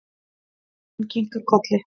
Dóttirin kinkar kolli.